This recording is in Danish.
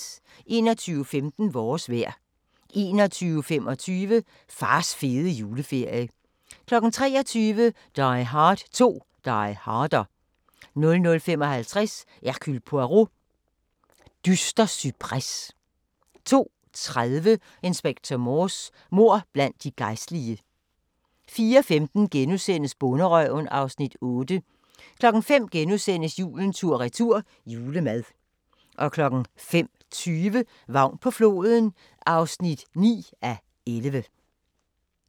21:15: Vores vejr 21:25: Fars fede juleferie 23:00: Die Hard 2: Die Harder 00:55: Hercule Poirot: Dyster cypres 02:30: Inspector Morse: Mord blandt de gejstlige 04:15: Bonderøven (Afs. 8)* 05:00: Julen tur-retur – julemad * 05:20: Vagn på floden (9:11)